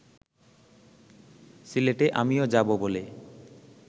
সিলেটে আমিও যাব বলে